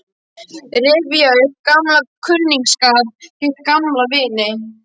Rifja upp gamlan kunningsskap, hitta gamla vini.